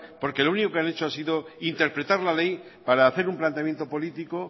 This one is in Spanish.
porque lo único que han hecho ha sido interpretar la ley para hacer un planteamiento político